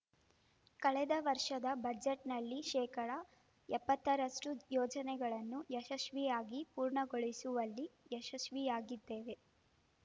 ಕಳೆದ ವರ್ಷದ ಬಜೆಟ್‌ನಲ್ಲಿದ್ದ ಶೇಕಡಾ ಎಪ್ಪತ್ತರಷ್ಟು ಯೋಜನೆಗಳನ್ನು ಯಶಸ್ವಿಯಾಗಿ ಪೂರ್ಣಗೊಳಿಸುವಲ್ಲಿ ಯಶಸ್ವಿಯಾಗಿದ್ದೇವೆ